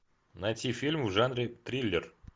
найти фильм в жанре триллер